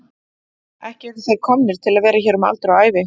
Ekki eru þeir komnir til að vera hér um aldur og ævi.